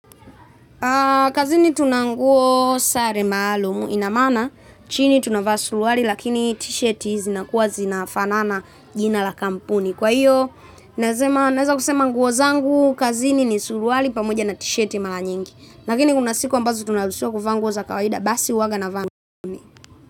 Kazini tuna nguo sare maalumu ina maana chini tunavaa suruali lakini t-shirt zinakuwa zinafanana jina la kampuni. Kwa hiyo naweza kusema nguo zangu kazini ni suruali pamoja na t-shirti mara nyingi. Lakini kuna siku ambazo tunaruhusiwa kuvaa nguo za kawaida basi uwaga navaa zangu.